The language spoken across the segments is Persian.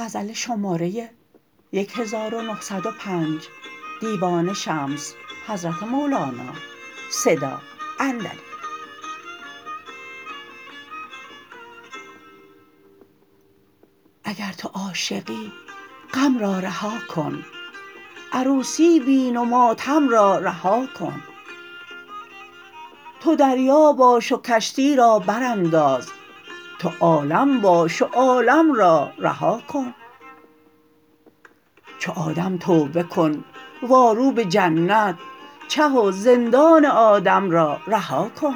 اگر تو عاشقی غم را رها کن عروسی بین و ماتم را رها کن تو دریا باش و کشتی را برانداز تو عالم باش و عالم را رها کن چو آدم توبه کن وارو به جنت چه و زندان آدم را رها کن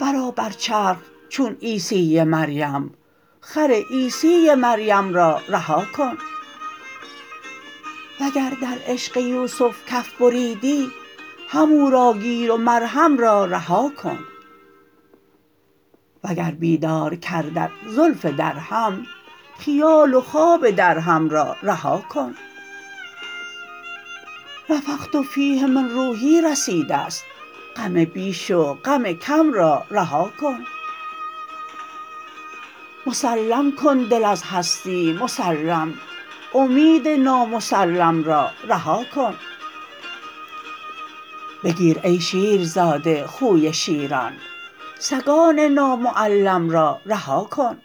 برآ بر چرخ چون عیسی مریم خر عیسی مریم را رها کن وگر در عشق یوسف کف بریدی همو را گیر و مرهم را رها کن وگر بیدار کردت زلف درهم خیال و خواب درهم را رها کن نفخت فیه من روحی رسیده ست غم بیش و غم کم را رها کن مسلم کن دل از هستی مسلم امید نامسلم را رها کن بگیر ای شیرزاده خوی شیران سگان نامعلم را رها کن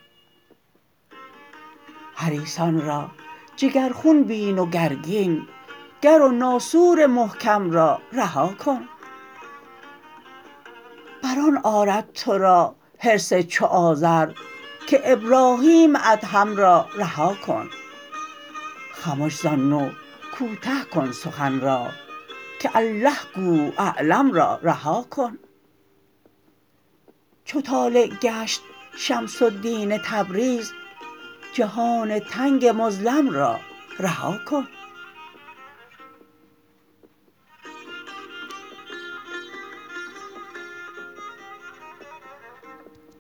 حریصان را جگرخون بین و گرگین گر و ناسور محکم را رها کن بر آن آرد تو را حرص چو آزر که ابراهیم ادهم را رها کن خمش زان نوع کوته کن سخن را که الله گو اعلم را رها کن چو طالع گشت شمس الدین تبریز جهان تنگ مظلم را رها کن